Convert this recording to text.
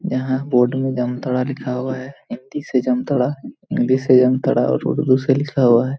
यहां बोर्ड में जामताड़ा लिखा हुआ है हिन्दी से जामताड़ा इंग्लिश से जामताड़ा और उर्दू से लिखा हुआ है।